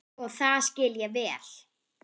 Og það skil ég vel.